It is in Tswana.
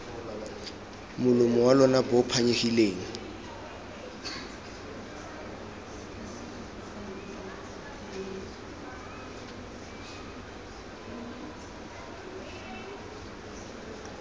molomo wa lona bo phanyegileng